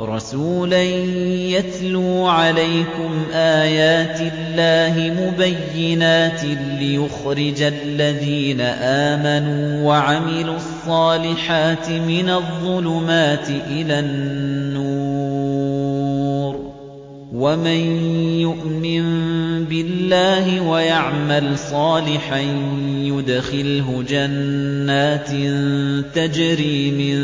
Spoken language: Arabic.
رَّسُولًا يَتْلُو عَلَيْكُمْ آيَاتِ اللَّهِ مُبَيِّنَاتٍ لِّيُخْرِجَ الَّذِينَ آمَنُوا وَعَمِلُوا الصَّالِحَاتِ مِنَ الظُّلُمَاتِ إِلَى النُّورِ ۚ وَمَن يُؤْمِن بِاللَّهِ وَيَعْمَلْ صَالِحًا يُدْخِلْهُ جَنَّاتٍ تَجْرِي مِن